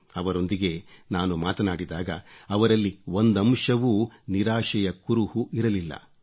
ಅವರೊಂದಿಗೆ ನಾನು ಮಾತಾಡಿದಾಗ ಅವರಲ್ಲಿ ಒಂದಂಶವೂ ನಿರಾಶೆಯ ಕುರುಹು ಇರಲಿಲ್ಲ